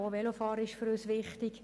Auch Velofahren ist für uns wichtig.